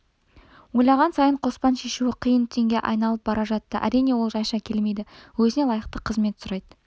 ойлаған сайын қоспан шешуі қиын түйінге айналып бара жатты әрине ол жайша келмейді өзіне лайықты қызмет сұрайды